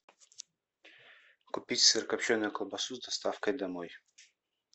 купить сырокопченую колбасу с доставкой домой